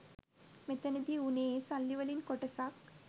මෙතනදි වුනේ ඒ සල්ලිවලින් කොටසක්